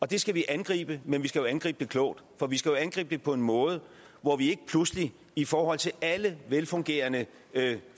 det skal vi angribe men vi skal angribe det klogt for vi skal jo angribe det på en måde hvor vi ikke pludselig i forhold til alle velfungerende